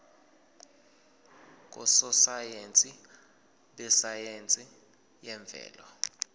ngososayense besayense yemvelo